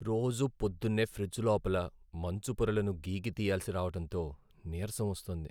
రోజూ పొద్దున్నే ఫ్రిజ్ లోపల మంచు పొరలను గీకి తియ్యాల్సి రావటంతో నీరసం వస్తోంది.